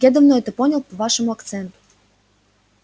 я давно это понял по вашему акценту